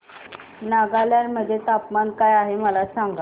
नागालँड मध्ये तापमान काय आहे मला सांगा